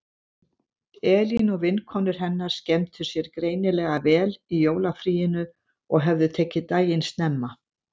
Elín og vinkonur hennar skemmtu sér greinilega vel í jólafríinu og höfðu tekið daginn snemma.